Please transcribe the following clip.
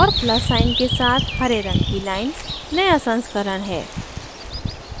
और plus sign के साथ हरे रंग की line नया संस्करण है